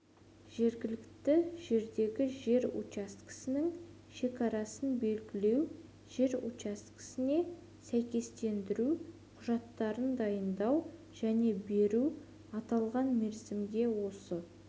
жергілікті жердегі жер учаскесінің шекарасын белгілеу жер учаскесіне сәйкестендіру құжаттарын дайындау және беру аталған мерзімге осы